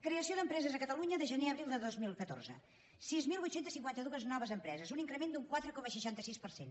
creació d’empreses a catalunya de gener a abril de dos mil catorze sis mil vuit cents i cinquanta dos noves empreses un increment d’un quatre coma seixanta sis per cent